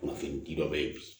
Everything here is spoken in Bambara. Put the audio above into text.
Kunnafonidi dɔ bɛ yen bi